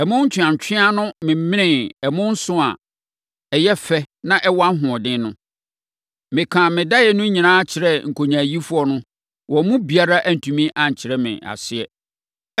Ɛmo ntweantweaa no memenee ɛmo nson a ɛyɛ fɛ na ɛwɔ ahoɔden no. Mekaa me daeɛ no nyinaa kyerɛɛ nkonyaayifoɔ no, wɔn mu biara antumi ankyerɛ me aseɛ.”